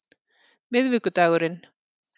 miðvikudagurinn